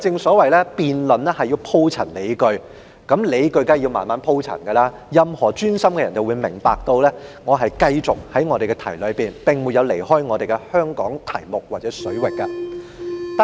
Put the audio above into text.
不過，辯論需要鋪陳理據，理據需要慢慢鋪陳，任何專心聆聽的人都會明白，我一直都在議題範圍內，並沒有離開有關香港水域的題目。